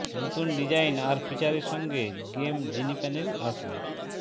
নতুন ডিজাইন আর ফিচারের সঙ্গে গেম জিনি প্যানেল আসবে